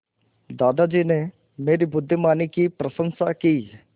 दादाजी ने मेरी बुद्धिमानी की प्रशंसा की